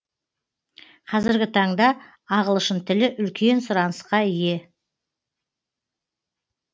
қазіргі таңда ағылшын тілі үлкен сұрынысқа ие